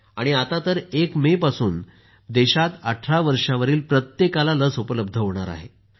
आता तर एक मेपासून देशात 18 वर्षांवरील प्रत्येकाला लस उपलब्ध होणार आहे